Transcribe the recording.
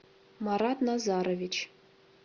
марат назарович